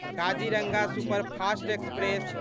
Kaziranga superfast express